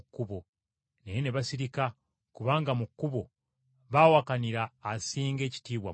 Naye ne basirika kubanga mu kkubo baawakanira asinga ekitiibwa mu bo!